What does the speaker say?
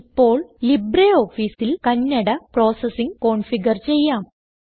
ഇപ്പോൾ LibreOfficeൽ Kannada processing configure ചെയ്യാം